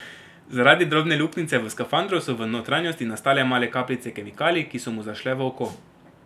Zaradi drobne luknjice v skafandru so v notranjosti nastale male kapljice kemikalij, ki so mu zašle v oko.